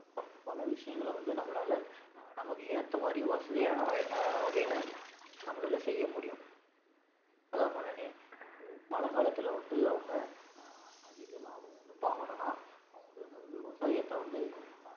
பல விஷயங்கள வந்து நம்மளா அஹ் நமக்கு ஏத்த மாதிரி வசதியான வ~ வகையில நம்மளால செய்ய முடியும் அதான் சொன்னேனே இப்போ மழைக்காலத்துல வந்து அவங்க அஹ் அதிக லாபம் வந்து பார்க்கணும்ன்னா அவுங்க விவ~ விவசாயத்தை வந்து அஹ்